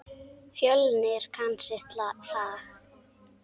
Fjölnir kann sitt fag.